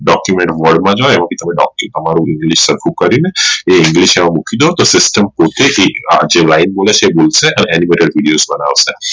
Document Vault માં જોયાવો કે તમે તમે તમારું english સરખું કરી ને એ english મૂકી દો તો system પોતે જે એક line બોલે છે Animator video બનાશે